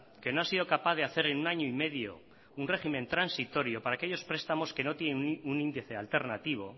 que no ha sido capaz de hacer en un año y medio un régimen transitorio para aquellos prestamos que no tienen un índice alternativo